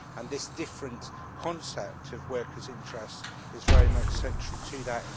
This different concept of workers' interests is very much central to that.